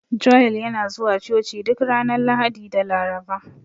Joel yana zuwa Coci duk ranar Lahadi da Laraba.